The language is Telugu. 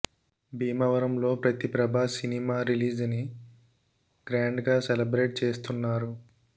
భీమవరంలో ప్రతి ప్రభాస్ సినిమా రిలీజ్ ని గ్రాండ్ గా సెలెబ్రేట్ చేస్తున్నారు